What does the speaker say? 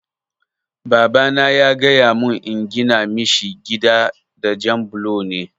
Babana ya gaya mun in gina mishi gida da jab bulo ne